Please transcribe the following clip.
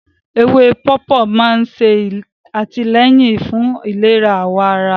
Ewé pọ̀pọ́ máa ń ṣe àtìlẹ́yìn fún ìlera àwọ̀ ará